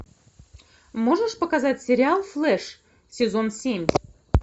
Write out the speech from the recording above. можешь показать сериал флеш сезон семь